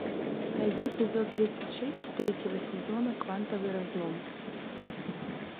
найди эпизод тридцать шесть третьего сезона квантовый разлом